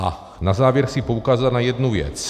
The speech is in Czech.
A na závěr chci poukázat na jednu věc.